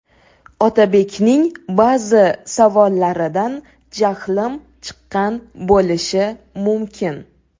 Otabekning ba’zi savollaridan jahlim chiqqan bo‘lishi mumkin.